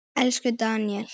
Elsku Daníel.